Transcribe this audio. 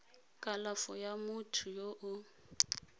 kalafo ya motho yo o